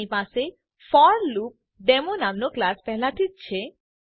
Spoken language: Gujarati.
આપણી પાસે ફોરલૂપડેમો નામનો ક્લાસ પેહલાથી જ છે